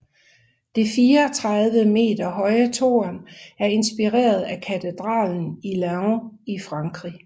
Det 74 meter høje tårn er inspireret af katedralen i Laon i Frankrig